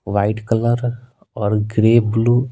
white colour और grey blue --